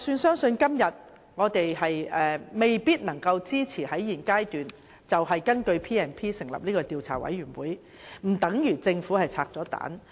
即使今天我們未必能夠支持在現階段根據《條例》成立專責委員會，這並不代表政府已"拆彈"。